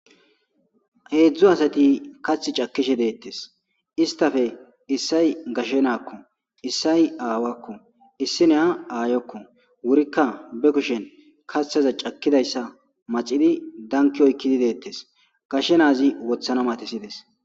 heedzdzu asati kath cakishe deettes istafe issay gashe naakko issay aawakko issi neya aayokko wurikka be kushen kaththaza cakkidayssa macidi danki oykkidi deettes gashe naazi wothana matesides